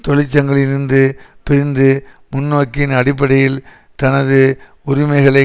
தொழிற்சங்கங்களில் இருந்து பிரிந்து முன்நோக்கின் அடிப்படையில் தனது உரிமைகளை